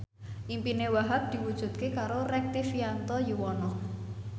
impine Wahhab diwujudke karo Rektivianto Yoewono